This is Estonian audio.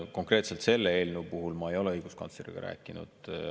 Konkreetselt selle eelnõu puhul ma ei ole õiguskantsleriga rääkinud.